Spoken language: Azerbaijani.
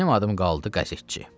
Mənim adım qaldı qəzetçi.